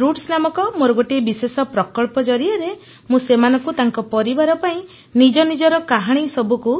roots ନାମକ ମୋର ଗୋଟିଏ ବିଶେଷ ପ୍ରକଳ୍ପ ଜରିଆରେ ମୁଁ ସେମାନଙ୍କୁ ତାଙ୍କ ପରିବାର ପାଇଁ ନିଜ ନିଜର କାହାଣୀ ସବୁକୁ